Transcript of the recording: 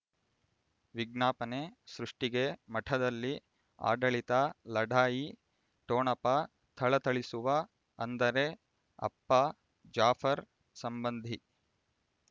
ವಿಜ್ಞಾಪನೆ ಸೃಷ್ಟಿಗೆ ಮಠದಲ್ಲಿ ಆಡಳಿತ ಲಢಾಯಿ ಠೊಣಪ ಥಳಥಳಿಸುವ ಅಂದರೆ ಅಪ್ಪ ಜಾಫರ್ ಸಂಬಂಧಿ